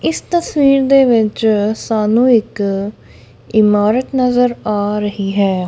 ਇਸ ਤਸਵੀਰ ਦੇ ਵਿੱਚ ਸਾਨੂੰ ਇੱਕ ਇਮਾਰਤ ਨਜ਼ਰ ਆ ਰਹੀ ਹੈ।